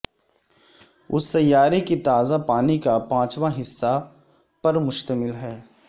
اس سیارے کی تازہ پانی کا پانچواں حصہ پر مشتمل ہے